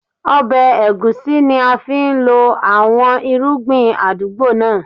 Ọbẹ̀ egusi ni a fi ń lọ àwọn irúgbìn àdúgbò náà.